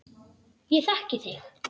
Ég þekki þig.